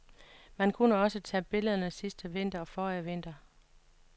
Man kunne også tage billederne sidste vinter og forrige vinter.